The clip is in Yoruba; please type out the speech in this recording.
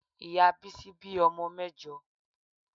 Ìyá Bísí bí ọmọ mẹ́jọ.